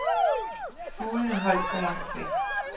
Fuglene holdt sig langt væk.